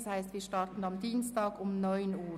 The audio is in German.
Das heisst, wir starten am Dienstag um 9.00 Uhr.